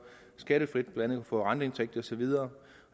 skattefrit blandt andet kunne få renteindtægt og så videre